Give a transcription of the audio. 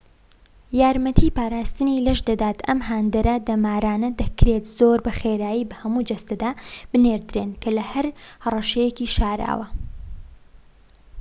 ئەم هاندەرە دەمارانە دەکرێت زۆر بە خێرایی بە هەموو جەستەدا بنێردرێن کە لە هەر هەڕەشەیەکی شاراوە‎ یارمەتی پاراستنی لەش دەدات